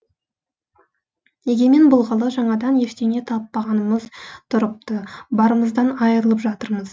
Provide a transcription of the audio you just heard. егемен болғалы жаңадан ештеңе таппағанымыз тұрыпты барымыздан айырылып жатырмыз